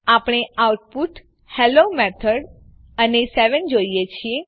આપણે output hello method અને 7 જોઈએ છે